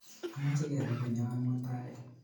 Amache kepe konyon mutai